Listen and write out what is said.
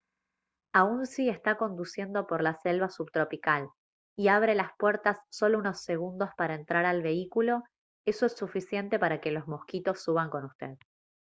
aun si está conduciendo por la selva subtropical y abre las puertas solo unos segundos para entrar al vehículo eso es suficiente para que los mosquitos suban con usted